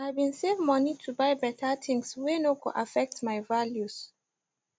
i bin save money to buy better things whey no go affect my values